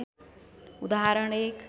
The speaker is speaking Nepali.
उदाहरण १